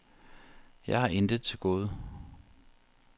Jeg har intet til gode.